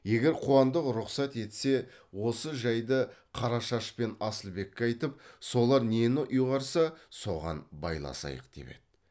егер қуандық рұқсат етсе осы жайды қарашаш пен асылбекке айтып солар нені ұйғарса соған байласайық деп еді